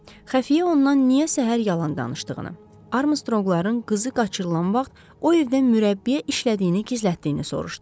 Xəfiyyə ondan niyə səhər yalan danışdığını, Armstronqların qızı qaçırılan vaxt o evdə mürəbbiyə işlədiyini gizlətdiyini soruşdu.